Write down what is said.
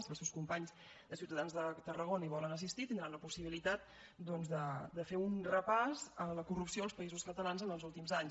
si els seus companys de ciutadans de tarragona hi volen assistir tindran una possibilitat doncs de fer un repàs a la corrupció als països catalans en els últims anys